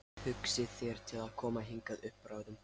Hugsið þér til að koma hingað upp bráðum?